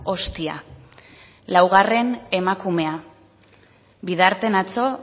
hostia laugarren emakumea bidarten atzo